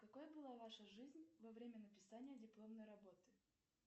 какой была ваша жизнь во время написания дипломной работы